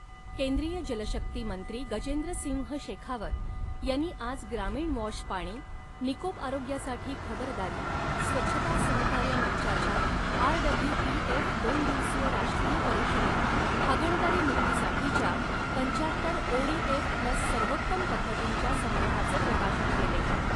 केंद्रीय जलशक्ती मंत्री गजेंद्र सिंह शेखावत यांनी आज ग्रामीण वॉश पाणी, निकोप आरोग्यासाठी खबरदारी, स्वछता सहकार्य मंचाच्या आरडब्लूपीएफ दोन दिवसीय राष्ट्रीय परिषदेत, हागणदारी मुक्तीसाठीच्या पंचात्तर ओडीएफ प्लस सर्वोत्तम पद्धतींच्या संग्रहाचे प्रकाशन केले.